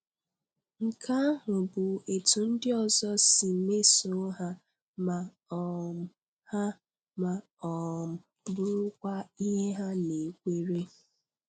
Nke ahụ bụ etú ndị ọzọ si mesoo ha, ma um ha, ma um bụrụkwa ihe ha nakweere.